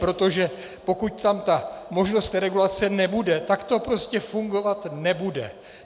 Protože pokud tam ta možnost regulace nebude, tak to prostě fungovat nebude.